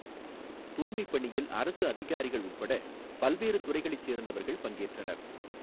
தூய்மைப் பணியில் அரசு அதிகாரிகள் உள்பட பல்வேறு துறைகளைச் சோ்ந்தவா்கள் பங்கேற்றனா்.